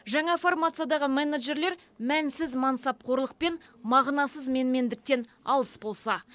жаңа формациядағы менеджерлер мәнсіз мансапқорлық пен мағынасыз менмендіктен алыс болса